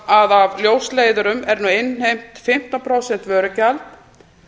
að af ljósleiðurum er nú innheimt fimmtán prósenta vörugjald